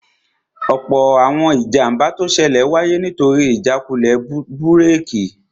Ọ̀pọ̀ àwọn ìjàmbá tó ṣẹlẹ̀ wáyé nítorí ìjákulẹ̀ búrèkì